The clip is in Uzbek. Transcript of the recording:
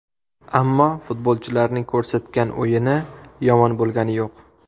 Ammo futbolchilarning ko‘rsatgan o‘yini yomon bo‘lgani yo‘q.